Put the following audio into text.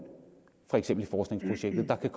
for eksempel i forskningsprojektet der kan